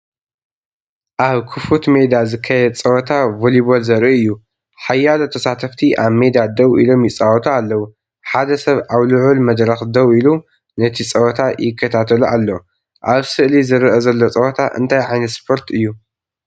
ኣብ ክፉት ሜዳ ዝካየድ ጸወታ ቮሊቦል ዘርኢ እዩ። ሓያሎ ተሳተፍቲ ኣብ ሜዳ ደው ኢሎም ይጻወቱ ኣለዉ፡ ሓደ ሰብ ኣብ ልዑል መድረኽ ደው ኢሉ ነቲ ጸወታ ይከታተሎ ኣሎ። ኣብ ስእሊ ዝርአ ዘሎ ጸወታ እንታይ ዓይነት ስፖርት እዩ?